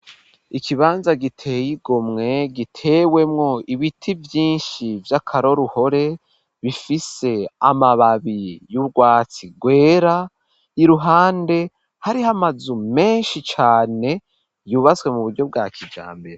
Ikibanza giteye igomwe gitewemwo ibiti vyinshi vy'akaroruhore bifise amababi y'urwatsi rwera iruhande hariho amazu menshi cane yubatswe mu buryo bwa kijambere.